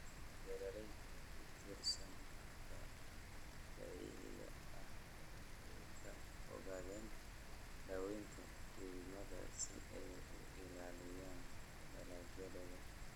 Beeralayda oo ku tiirsan hababka dabiiciga ah waxay ka fogaadaan daawaynta kiimikada si ay u ilaaliyaan dalagyadooda.